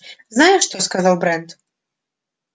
знаешь что сказал брент